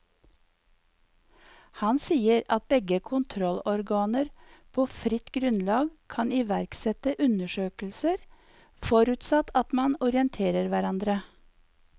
Han sier at begge kontrollorganer på fritt grunnlag kan iverksette undersøkelser, forutsatt at man orienterer hverandre.